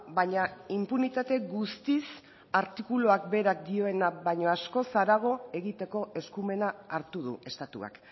baina inpunitate guztiz artikuluak berak dioena baino askoz harago egiteko eskumena hartu du estatuak